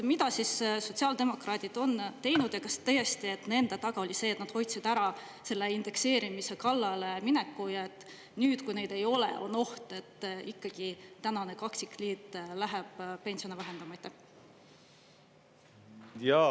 Mida siis sotsiaaldemokraadid on teinud ja kas tõesti nende taga oli see, et nad hoidsid ära selle indekseerimise kallale mineku, ja nüüd, kui neid ei ole, on oht, et ikkagi tänane kaksikliit läheb pensione vähendama?